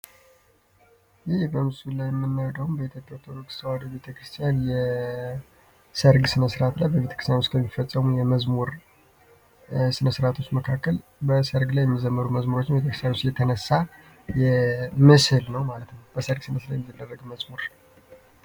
ይህ በምስሉ ላይ የምናየው ደግሞ በኢትዮጵያ ኦርቶዶክስ ቤተክርስቲያን የሰርግ ስነ ስረአት ላይ በብብቤተክርስቲያን ውስጥ ለሚፈጸሙ የመዝሙር ስነስራቶች መካከል በሰርግ ላይ የሚዘመሩ መዝሙሮችን የተክሳሩስ የተነሳ ምስል ነው ማለት ነው በሰርግ ስነ ስረአት ላይ የሚዘመር መዝሙር ነው።